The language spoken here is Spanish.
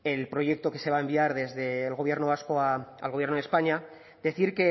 el proyecto que se va a enviar desde el gobierno vasco al gobierno de españa decir